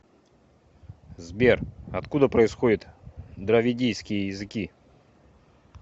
сбер откуда происходит дравидийские языки